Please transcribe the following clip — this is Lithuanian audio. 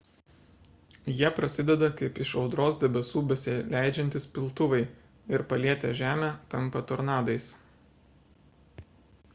jie prasideda kaip iš audros debesų besileidžiantys piltuvai ir palietę žemę tampa tornadais